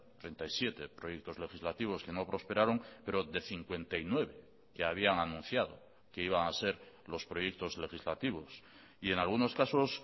treinta y siete proyectos legislativos que no prosperaron pero de cincuenta y nueve que habían anunciado que iban a ser los proyectos legislativos y en algunos casos